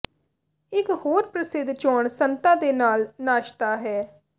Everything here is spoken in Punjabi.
ਇਕ ਹੋਰ ਪ੍ਰਸਿੱਧ ਚੋਣ ਸੰਤਾ ਦੇ ਨਾਲ ਨਾਸ਼ਤਾ ਹੈ